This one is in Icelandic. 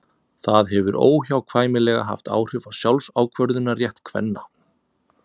það hefur óhjákvæmilega haft áhrif á sjálfsákvörðunarrétt kvenna